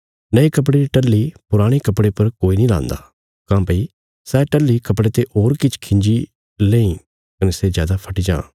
नये कपड़े री टल्ही पुराणे कपड़े पर कोई नीं लान्दा काँह्भई सै टल्ही कपड़े ते होर किछ खिंजी लेईं कने सै जादा फटी जां